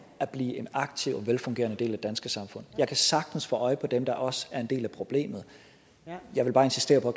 at blive en aktiv og velfungerende del af det danske samfund jeg kan sagtens få øje på dem der også er en del af problemet jeg vil bare insistere på